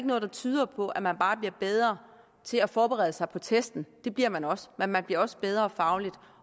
noget der tyder på at man bare bliver bedre til at forberede sig på testen det bliver man også men man bliver også bedre fagligt